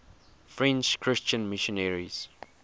french christian missionaries